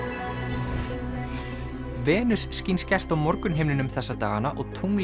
Venus skín skært á morgunhimninum þessa dagana og tunglið